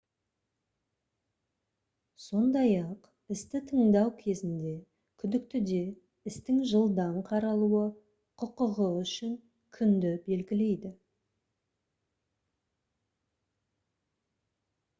сондай-ақ істі тыңдау кезінде күдіктіде істің жылдам қаралуы құқығы үшін күнді белгілейді